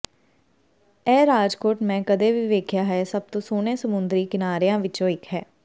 ਇਹ ਰਿਜੋਰਟ ਮੈਂ ਕਦੇ ਵੀ ਵੇਖਿਆ ਹੈ ਸਭ ਤੋਂ ਸੋਹਣੇ ਸਮੁੰਦਰੀ ਕਿਨਾਰਿਆਂ ਵਿੱਚੋਂ ਇੱਕ ਹੈ